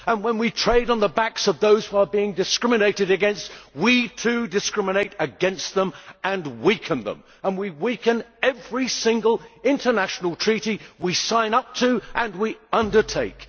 And when we trade on the backs of those who are being discriminated against, we too discriminate against them and weaken them, and we weaken every single international treaty we sign up to and undertake.